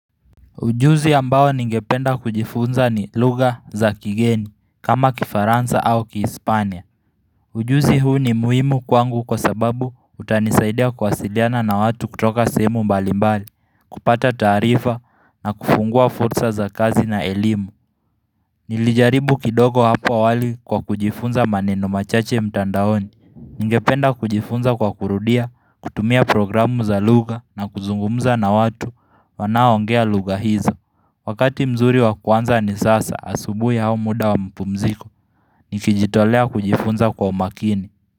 Ujuzi ambawa ningependa kujifunza ni lugha za kigeni, kama kifaransa au kispania. Ujuzi huu ni muhimu kwangu kwa sababu utanisaidia kuwasiliana na watu kutoka sehemu mbalimbali, kupata taarifa na kufungua fursa za kazi na elimu. Nilijaribu kidogo hapo awali kwa kujifunza maneno machache mtandaoni. Ningependa kujifunza kwa kurudia, kutumia programu za lugha na kuzungumza na watu wanao ongea lugha hizo. Wakati mzuri wa kuanza ni sasa asubuhi au muda wa mapumziko Nikijitolea kujifunza kwa umakini.